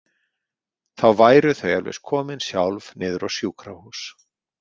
Þá væru þau eflaust komin sjálf niður á sjúkrahús.